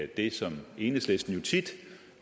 det som enhedslisten jo tit